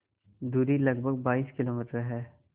दूरी लगभग बाईस किलोमीटर है